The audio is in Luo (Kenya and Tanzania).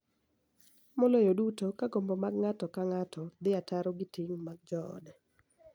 Maloyo duto ka gombo mag ng�ato ka ng�ato dhi ataro gi ting� mag joode.